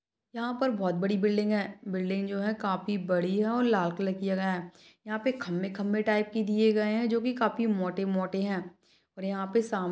यहा पर बहुत बड़ी बिल्डिंग है बिल्डिंग जो है काफी बड़ी है और लाल कलर किया गया है यहाँ पे खंबे खंबे टाइप के दिए गए है जो काफी मोटे मोटे है और यहाँ पे सामने--